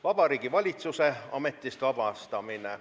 Vabariigi Valitsuse ametist vabastamine.